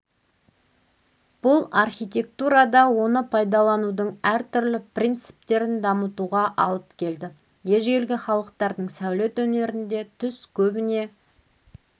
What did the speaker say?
бұл архитектурада оны пайдаланудың әртүрлі принциптерін дамытуға алып келді ежелгі халықтардың сәулет өнерінде түс көбіне